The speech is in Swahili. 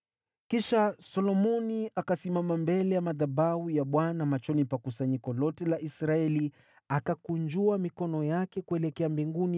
Kisha Solomoni akasimama mbele ya madhabahu ya Bwana machoni pa kusanyiko lote la Israeli, akakunjua mikono yake kuelekea mbinguni